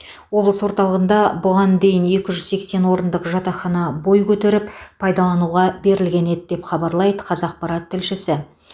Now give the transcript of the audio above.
облыс орталығында бұған дейін екі жүз сексен орындық жатақхана бой көтеріп пайдалануға берілген еді деп хабарлайды қазақпарат тілшісі